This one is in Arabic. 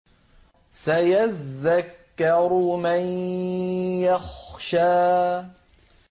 سَيَذَّكَّرُ مَن يَخْشَىٰ